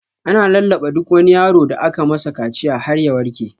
Ana lallaɓa duk wani yaro da aka masa kaciya har ya warke.